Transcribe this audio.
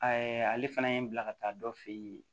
ale fana ye n bila ka taa dɔ fɛ yen